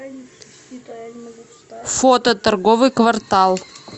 фото торговый квартал